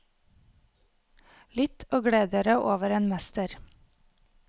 Lytt og gled dere over en mester.